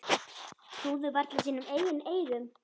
Trúðu varla sínum eigin eyrum.